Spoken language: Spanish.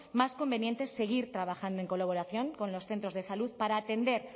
más conveniente seguir trabajando en colaboración con los centros de salud para atender